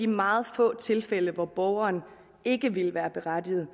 meget få tilfælde hvor borgeren ikke vil være berettiget